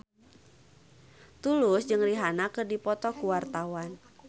Tulus jeung Rihanna keur dipoto ku wartawan